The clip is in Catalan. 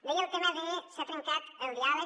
deia el tema de que s’ha trencat el diàleg